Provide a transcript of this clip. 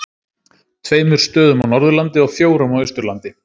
Tveimur stöðum á Norðurlandi og fjórum á Austurlandi.